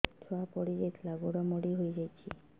ଛୁଆ ପଡିଯାଇଥିଲା ଗୋଡ ମୋଡ଼ି ହୋଇଯାଇଛି